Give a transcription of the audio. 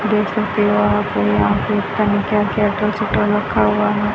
देख सकते हो आप यहां पे पता नहीं क्या क्या अटर चटर रखा हुआ है।